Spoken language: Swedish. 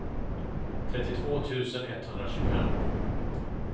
trettiotvå tusen etthundratjugofem